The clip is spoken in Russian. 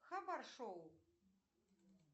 хабар шоу